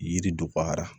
Yiri dɔgɔyara